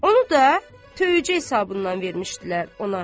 Onu da tövücə hesabından vermişdilər ona.